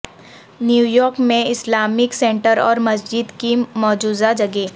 New York میں Islamic centre اور مسجد کی مجوزہ جگہ